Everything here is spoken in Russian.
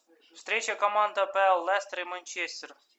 встреча команд апл лестер манчестер